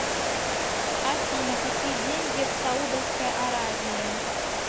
афина какие деньги в саудовской аравии